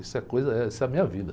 Isso é coisa, eh, isso é a minha vida.